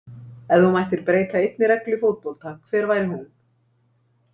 Ef þú mættir breyta einni reglu í fótbolta hver væri hún?